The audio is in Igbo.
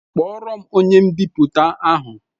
Kpọọro m onye mbipụta ahụ!